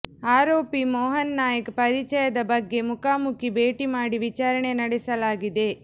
ಆರೋಪಿ ಮೋಹನ್ ನಾಯಕ್ ಪರಿಚಯದ ಬಗ್ಗೆ ಮುಖಾಮುಖಿ ಭೇಟಿ ಮಾಡಿ ವಿಚಾರಣೆ ನಡೆಸಲಾಗಿದೆ